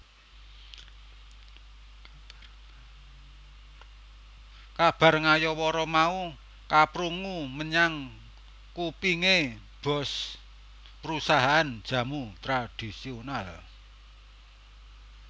Kabar ngayawara mau keprungu menyang kupinge boss perusahaan jamu tradhisional